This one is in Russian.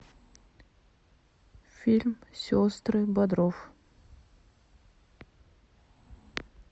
фильм сестры бодров